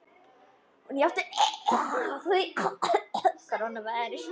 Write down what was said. Hún játti því.